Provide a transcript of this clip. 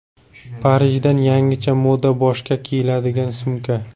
Parijdan yangicha moda: boshga kiyiladigan sumka .